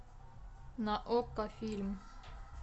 на окко фильм